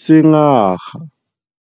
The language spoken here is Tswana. sengaga.